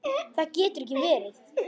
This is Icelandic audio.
Það getur ekki verið!